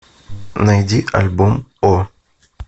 найди альбом о